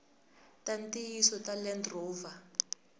ta ntiyiso ta land rover